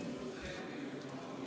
Üks hetk, Märt Sults!